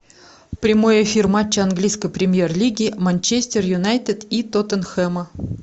прямой эфир матча английской премьер лиги манчестер юнайтед и тоттенхэма